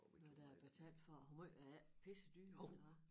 Når der er betalt for hvor måj er de ikke pissedyre eller hvad